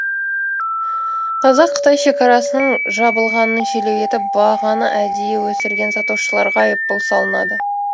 қазақ қытай шекарасының жабылғанын желеу етіп бағаны әдейі өсірген сатушыларға айыппұл салынады